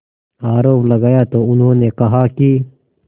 आरोप लगाया तो उन्होंने कहा कि